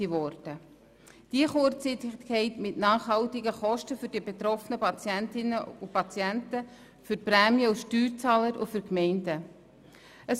Diese Kurzsichtigkeit führt zu nachhaltigen Kosten für die betroffenen Patientinnen und Patienten, für die Prämien- und Steuerzahlenden sowie für die Gemeinden.